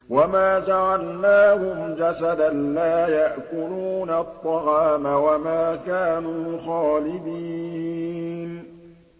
وَمَا جَعَلْنَاهُمْ جَسَدًا لَّا يَأْكُلُونَ الطَّعَامَ وَمَا كَانُوا خَالِدِينَ